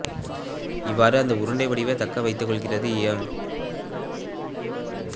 இவ்வாறு அந்த உருண்டை வடிவை தக்க வைத்துக் கொள்கிறது ஈயம்